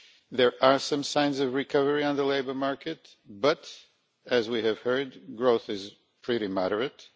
There are some signs of recovery on the labour market but, as we have heard, growth is pretty moderate.